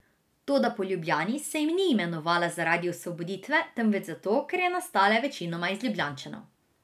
Toda po Ljubljani se ni imenovala zaradi osvoboditve, temveč zato, ker je nastala večinoma iz Ljubljančanov.